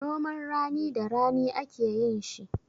Noman rani da rani ake yin shi.